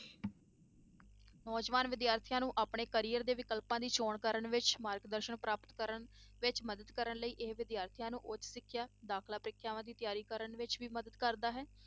ਨੌਜਵਾਨ ਵਿਦਿਆਰਥੀਆਂ ਨੂੰ ਆਪਣੇ carrier ਦੇ ਵਿਕਲਪਾਂ ਦੀ ਚੌਣ ਕਰਨ ਵਿੱਚ ਮਾਰਗ ਦਰਸ਼ਨ ਪ੍ਰਾਪਤ ਕਰਨ ਵਿੱਚ ਮਦਦ ਕਰਨ ਲਈ ਇਹ ਵਿਦਿਆਰਥੀਆਂ ਨੂੰ ਉੱਚ ਸਿੱਖਿਆ ਦਾਖਲਾ ਪ੍ਰੀਖਿਆਵਾਂ ਦੀ ਤਿਆਰੀ ਕਰਨ ਵਿੱਚ ਵੀ ਮਦਦ ਕਰਦਾ ਹੈ।